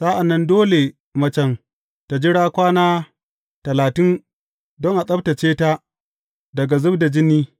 Sa’an nan dole macen ta jira kwana talatin don a tsabtacce ta daga zub da jini.